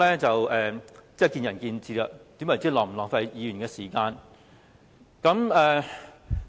這是見仁見智的，何謂浪費議員的時間？